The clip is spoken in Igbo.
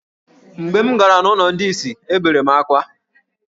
Mgbe m gara n’ụlọ ndị ìsì, ebere m akwa.